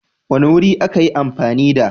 wani wuri a ka yi amfani da